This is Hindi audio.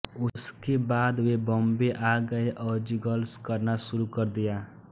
उसके बाद वे बोम्बे आ गाये और जिंगल्स करना शुरू कर दिया